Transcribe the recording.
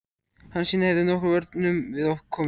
Hansína hefði nokkrum vörnum við komið.